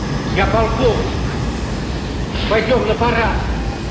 я полковник пойдём на парад